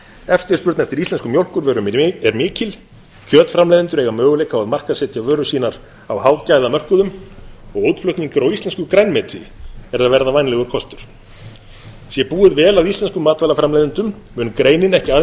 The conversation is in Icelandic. eftirspurn eftir íslenskum mjólkurvörum er mikil kjötframleiðendur eiga möguleika á að markaðssetja vörur sínar á hágæðamörkuðum og útflutningur á íslensku grænmeti er að verða vænlegur kostur sé búið vel að íslenskum matvælaframleiðendum mun greinin ekki